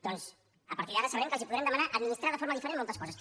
doncs a partir d’ara sabrem que els podrem demanar administrar de forma diferent moltes coses